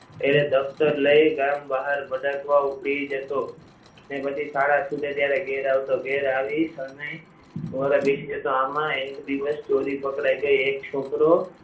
એટલે દફતર લઈ ગામ બહાર રખડવા ઉપડી જતો ને પછી શાળા છૂટે એટલે ઘરે આવતો ઘેર આવ્યા પછી શરણાઈ વગાડવા બેસી જતો આમાં એક દિવસ ચોરી પકડાઈ ગઈ એક છોકરો